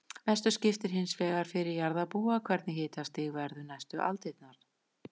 Mestu skiptir hins vegar fyrir jarðarbúa hvernig hitastig verður næstu aldirnar.